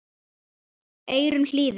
eyrum hlýðir